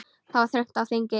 Það var þröng á þingi.